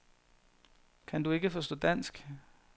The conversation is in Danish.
Kan du ikke forstå dansk?